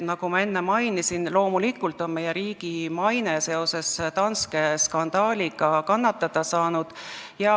Nagu ma enne mainisin, loomulikult on meie riigi maine seoses Danske skandaaliga kannatada saanud.